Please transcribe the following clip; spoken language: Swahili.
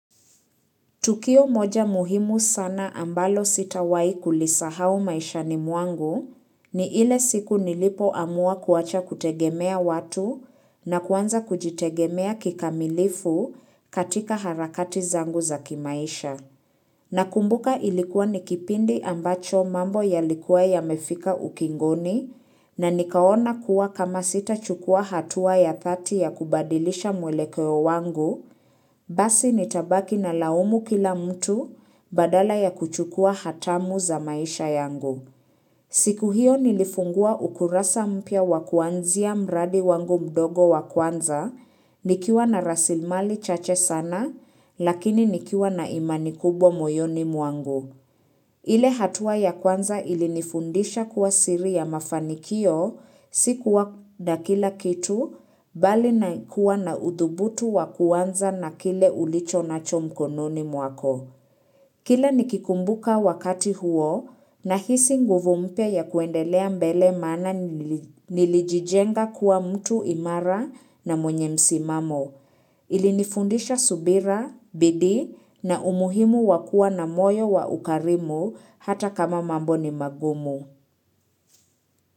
Tukio moja muhimu sana ambalo sitawai kulisahau maishani mwangu ni ile siku nilipo amua kuacha kutegemea watu na kuanza kujitegemea kikamilifu katika harakati zangu za kimaisha. Na kumbuka ilikuwa nikipindi ambacho mambo ya likuwa ya mefika ukingoni na nikaona kuwa kama sita chukua hatua ya thati ya kubadilisha mwelekeo wangu, basi nitabaki na laumu kila mtu badala ya kuchukua hatamu za maisha yangu. Siku hiyo nilifungua ukurasa mpya wa kuanzia mradi wangu mdogo wa kwanza, nikiwa na rasilmali chache sana, lakini nikiwa na imani kubwa moyoni mwangu. Ile hatua ya kwanza ili nifundisha kuwa siri ya mafanikio, sikuwa na kila kitu, bali na kuwa na udhubutu wa kuanza na kile ulicho na cho mkononi mwako. Kila nikikumbuka wakati huo na hisi nguvumpya ya kuendelea mbele maana nili nilijijenga kuwa mtu imara na mwenye msimamo. Ilinifundisha subira, bidii na umuhimu wakua na moyo wa ukarimu hata kama mambo ni magumu.